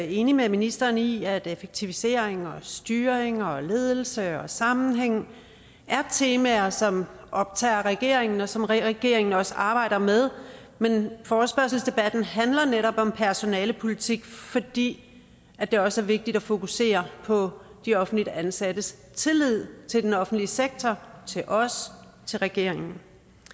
enig med ministeren i at effektivisering og styring og ledelse og sammenhæng er temaer som optager regeringen og som regeringen også arbejder med men forespørgselsdebatten handler netop om personalepolitik fordi det også er vigtigt at fokusere på de offentligt ansattes tillid til den offentlige sektor til os til regeringen